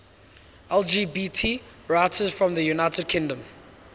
lgbt writers from the united kingdom